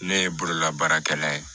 Ne ye bololabaarakɛla ye